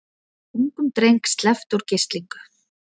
Ungum dreng sleppt úr gíslingu